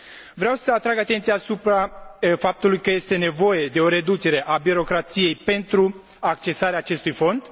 Vreau să atrag atenția asupra faptului că este nevoie de o reducere a birocrației pentru accesarea acestui fond.